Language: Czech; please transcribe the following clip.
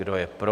Kdo je pro?